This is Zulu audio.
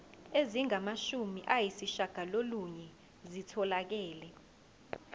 ezingamashumi ayishiyagalolunye zitholakele